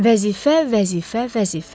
Vəzifə, vəzifə, vəzifə.